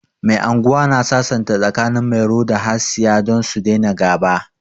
Mai anguwa na sasanta tsakanin Mairo da Hasiya don su daina ga'ba.